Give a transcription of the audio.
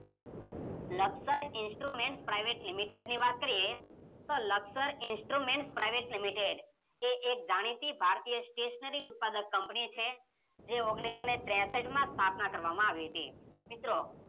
Laksar instrument private લિમિટેડની વાત કરીયે તો લકસર ઇન્સ્ટ્રુમેન્ટ પ્રાયવેટ લિમિટેડ એ એક જાણીતી ભારતીય સ્ટેશનરી ઉત્પાદક કંપની છે. જે ઓગણીસોને ત્રેસઠમાં સ્થાપના કરવામાં આવી હતી. મિત્રો